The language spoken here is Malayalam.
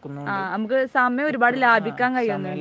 ആ, നമുക്ക് സമയം ഒരുപാട് ലാഭിക്കാൻ കഴിയുന്നുണ്ട്